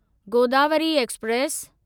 Godavari express